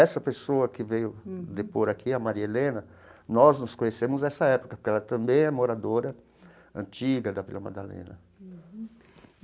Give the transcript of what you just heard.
Essa pessoa que veio depor aqui, a Maria Helena, nós nos conhecemos nessa época, porque ela também é moradora antiga da Vila Madalena.